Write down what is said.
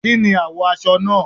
Kí ni àwọ̀ aṣọ náà?